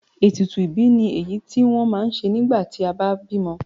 Ètùtù ìbí ni èyí tí wọ́n ma ń ṣe nígbà tí a bá bímọ.